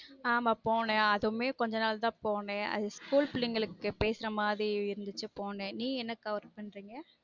ஆமா போனேன் அதுவுமே கொஞ்ச நாள் தான் போனேன்அது school பிள்ளைங்களுக்கு கிட்ட பேசுர மாதிரி இருந்துச்சு போனேன் நீங்க என்ன கா work பண்ணுறீங்க